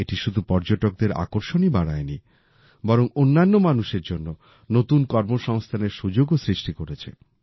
এটি শুধু পর্যটকদের আকর্ষণই বাড়ায়নি বরং অন্যান্য মানুষের জন্য নতুন কর্মসংস্থানের সুযোগও সৃষ্টি করেছে